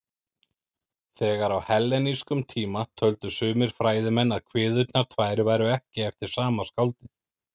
Þegar á hellenískum tíma töldu sumir fræðimenn að kviðurnar tvær væru ekki eftir sama skáldið.